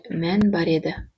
мән бар еді